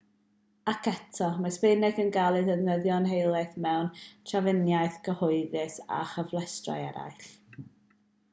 ac eto mae sbaeneg yn cael ei defnyddio'n helaeth mewn trafnidiaeth gyhoeddus a chyfleusterau eraill